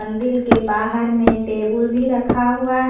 के बाहर में भी रखा हुआ है।